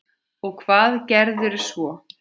Og hvað gerðuð þér svo?